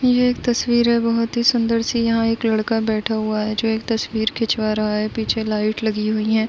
ये एक तस्वीर है बहोत ही सुंदर सीयहां एक लड़का बैठा हुआ है जो एक तस्वीर खिंचवा रहा है पीछे लाइट लगी हुई हैं।